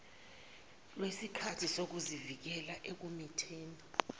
lwesikhali sokuzivikela ekumitheni